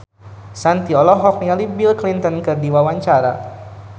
Shanti olohok ningali Bill Clinton keur diwawancara